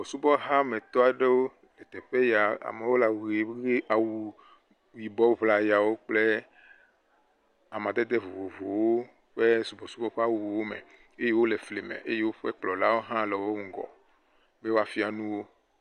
Subɔsubɔhametɔ aɖewo le teƒe ya, amewo le awu he.., yibɔ ŋlayawo kple amadede vovovowo kple subɔsubɔ ƒe awuwo me eye woƒe kplɔla wo le wo ŋgɔ be yewoafia nu wo.